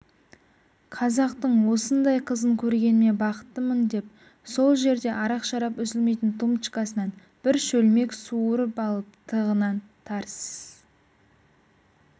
қазақтың осындай қызын көргеніме бақыттымын деп сол жерде арақ-шарап үзілмейтін тумбочкасынан бір шөлмек суырып алып тығынын тарс